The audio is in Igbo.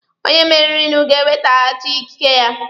Onye meririnụ ga-ewetaghachi ikike ya.